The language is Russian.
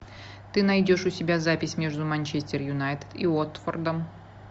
ты найдешь у себя запись между манчестер юнайтед и уотфордом